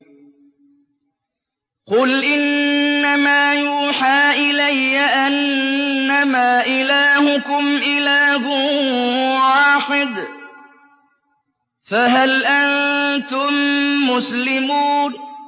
قُلْ إِنَّمَا يُوحَىٰ إِلَيَّ أَنَّمَا إِلَٰهُكُمْ إِلَٰهٌ وَاحِدٌ ۖ فَهَلْ أَنتُم مُّسْلِمُونَ